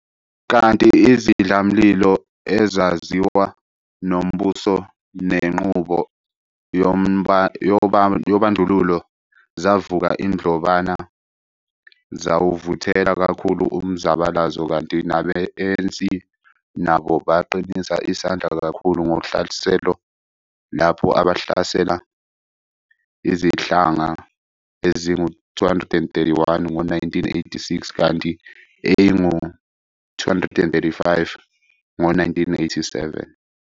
Kanti izidlamlilo ezaziwa nombuso nenqubo yobandlululo zavuka indlobana zawuvuthela kakhulu umzabalazo, kanti nabe-ANC nabo baqinisa isandla kakhulu ngohlaselo, lapho abahlasela izihlandla ezingu 231 ngo-1986 kanti eingu 235 ngo-1987.